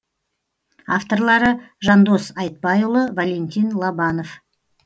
авторлары жандос айтбайұлы валентин лобанов